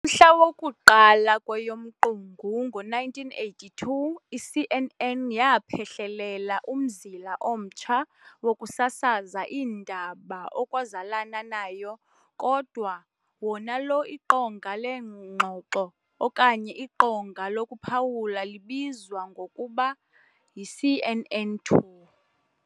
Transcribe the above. mhla woku-1 kweyomQungu ngo-1982 i-CNN yaaphehlelela umzila omtsha wokusasaza iindaba okwazalana nayo kodwa wonalo iqonga leengxoxo okanye iqonga lokuphawula libizwa ngokuba yi-CNN2.